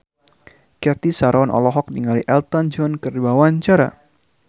Cathy Sharon olohok ningali Elton John keur diwawancara